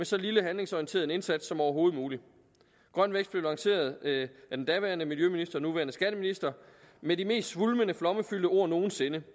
så lidt handlingsorienteret indsats som overhovedet muligt grøn vækst blev lanceret af den daværende miljøminister nuværende skatteminister med de mest svulmende flommefyldte ord nogen sinde